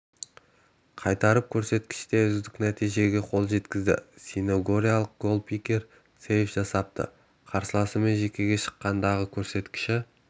қайтарып бұл көрсеткіште үздік нәтижеге қол жеткізді синегориялық голкипер сэйв жасапты қарсыласымен жеке шыққандағы көрсеткіші